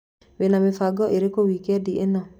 Wĩna mĩbango ĩrĩkũ wikendi ĩno?